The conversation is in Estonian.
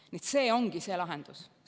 Nii et see ongi see lahendus.